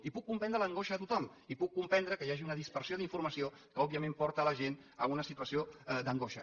i puc comprendre l’angoixa de tothom i puc comprendre que hi hagi una dispersió d’informació que òbviament porta la gent a una situació d’angoixa